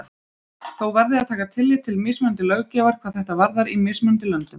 Þó verði að taka tillit til mismunandi löggjafar hvað þetta varðar í mismunandi löndum.